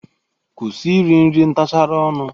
Kwusi iri nri ntachara ọnụ!